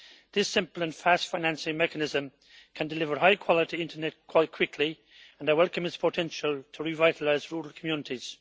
This simple and fast financing mechanism can deliver high quality internet quite quickly and I welcome its potential to revitalise rural communities.